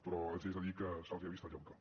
però els haig de dir que se’ls ha vist el llautó